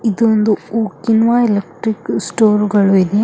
ಇದೊಂದು ಉಕ್ಕಿನವ electrical store ಗಳು ಇದೆ.